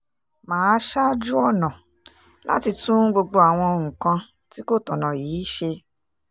mà á ṣáájú ọ̀nà láti tún gbogbo àwọn nǹkan tí kò tọ̀nà yìí ṣe